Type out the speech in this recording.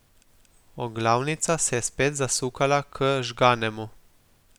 Oglavnica se je spet zasukala k Žganemu.